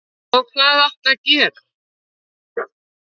Og hvað áttu að gera?